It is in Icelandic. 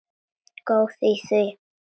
Góð í því!